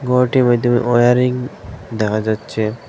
ঘরটির মধ্যে ওয়ারিং দেখা যাচ্ছে।